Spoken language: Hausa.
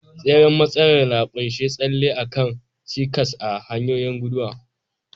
Tseren matsalar na ƙunshi tsalle a kan cikas a hanyar guduwa.